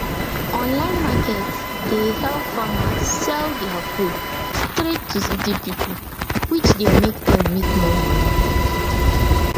online market dey help farmers sell their food straight to city pipo which de make dem make more money